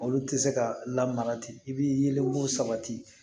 Olu tɛ se ka lamara ten i b'i yelenko sabati